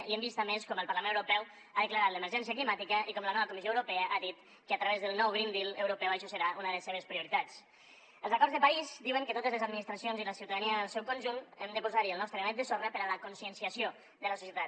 i hem vist a més com el parlament europeu ha declarat l’emergència climàtica i com la nova comissió europea ha dit que a través del nou green dealels acords de parís diuen que totes les administracions i la ciutadania en el seu conjunt hem de posar hi el nostre granet de sorra per a la conscienciació de la societat